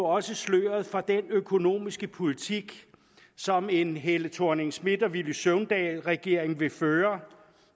også sløret for den økonomiske politik som en fru helle thorning schmidt og herre villy søvndal regering vil føre